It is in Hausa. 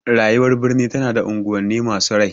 Rayuwar birni tana da unguwanni masu rai.